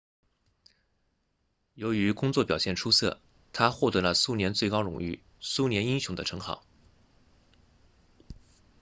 由于工作表现出色他获得了苏联最高荣誉苏联英雄的称号